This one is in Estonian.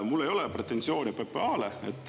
Mul ei ole pretensioone PPA-le.